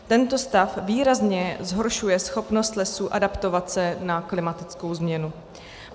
Tento stav výrazně zhoršuje schopnost lesů adaptovat se na klimatickou změnu.